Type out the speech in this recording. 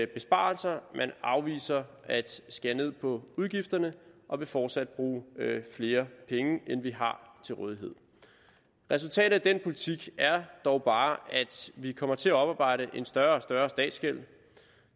besparelser man afviser at skære ned på udgifterne og vil fortsat bruge flere penge end vi har til rådighed resultatet af den politik er dog bare at vi kommer til at oparbejde en større og større statsgæld